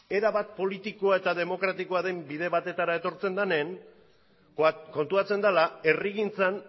erabat politikoa eta demokratikoa den bide batetara etortzen denean konturatzen dela herrigintzan